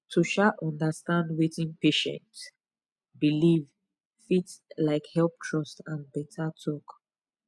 to um understand wetin patient believe fit um help trust and better talk